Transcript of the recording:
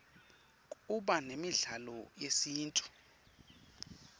kuba nemidlalo yesintfu